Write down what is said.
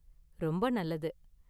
ரொம்ப நல்லது.